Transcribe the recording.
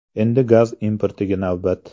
Endi gaz importiga navbat.